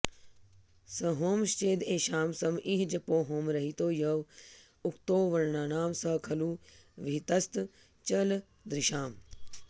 सहोमश्चेद् एषां सम इह जपो होमरहितो य उक्तो वर्णानां स खलु विहितस्तच्चलदृशाम्